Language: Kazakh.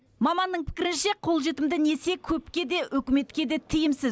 маманның пікірінше қолжетімді несие көпке де үкіметке де тиімсіз